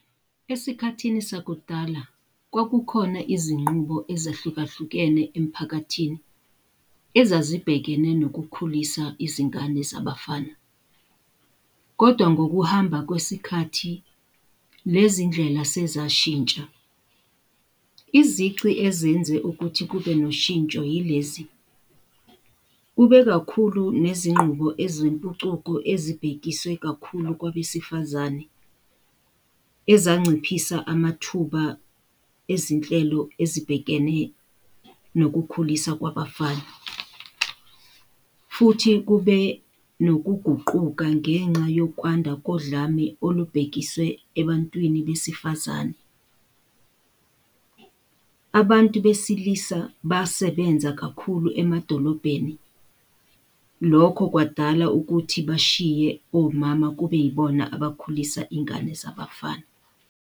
Esikhathini sakudala kwakukhona izinqubo ezahlukahlukene emphakathini ezibhekene nokukhulisa izingane zabafana. Kodwa ngokuhamba kwesikhathi lezi ndlela sezashintsha. Izici ezenze ukuthi kube noshintsho yilezi, kube kakhulu nezingqubo ezempucuko ezibhekiswe kakhulu kwabesifazane ezanciphisa amathuba ezinhlelo ezibhekene nokukhuliswa kwabafana. Futhi kube nokuguquka ngenxa yokwanda kodlame olubhekiswe ebantwini besifazane. Abantu besilisa basebenza kakhulu emadolobheni, lokho kwadala ukuthi bashiye omama kube yibona abakhulisa iy'ngane zabafana.